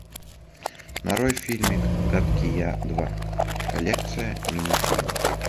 нарой фильмик гадкий я два коллекция мини фильмов